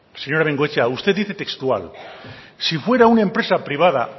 señora bengoechea usted dice textual si fuera una empresa privada